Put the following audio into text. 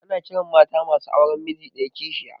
Ana ƙiran mata masu auren miji ɗaya kishiya